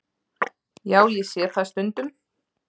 Já, ég sé það stundum.